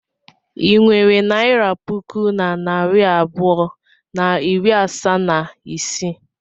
I nwere naira puku na narị abụọ na iri asaa na isii?